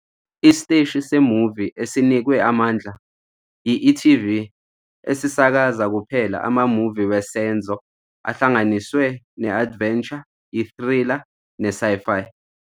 Isiteshi se-movie esinikwe amandla yi-e.tv esisakaza kuphela ama-movie wesenzo ahlanganiswe ne-adventure, i-thriller ne-sci-fi.